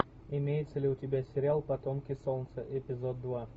имеется ли у тебя сериал потомки солнца эпизод два